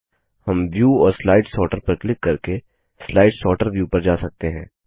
हम व्यू और slide sorter पर क्लिक करके स्लाइड सॉर्टर व्यू पर जा सकते हैं